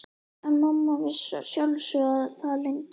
En mamma vissi að sjálfsögðu það leyndarmál.